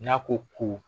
N'a ko ko